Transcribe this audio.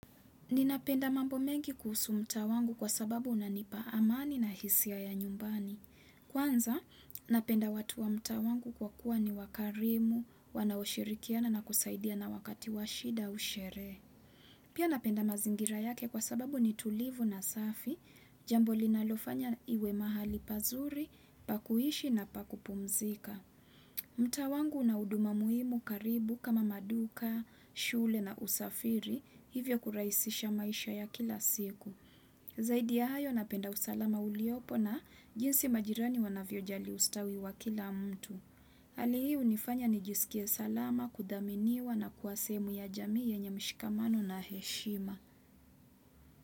Ninapenda mambo mengi kuhusu mtaa wangu kwa sababu unanipa amani na hisia ya nyumbani. Kwanza, napenda watu wa mtaa wangu kwa kuwa ni wakarimu, wanaoshirikiana na kusaidia na wakati washida au sherehe. Pia napenda mazingira yake kwa sababu ni tulivu na safi, jambo linalofanya iwe mahali pazuri, pa kuhishi na pakupumzika. Mtaa wangu una huduma muhimu karibu kama maduka, shule na usafiri hivyo kurahisisha maisha ya kila siku. Zaidi ya hayo na penda usalama uliopo na jinsi majirani wanavyojali ustawi wa kila mtu. Hali hii unifanya nijiskie salama kudhaminiwa na kuwa sehemu ya jamii yenye mshikamano na heshima.